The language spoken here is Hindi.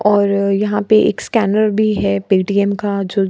और यहाँ पे एक स्कैनर भी है पेटीएम का जो --